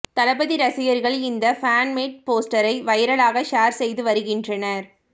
தளபதி ரசிகர்கள் இந்த fan made போஸ்டரை வைரலாக ஷேர் செய்து வருகின்றனர்